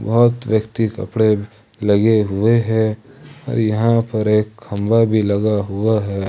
बहुत व्यक्ति कपड़े लगे हुए हैं और यहां पर एक खंभा भी लगा हुआ है।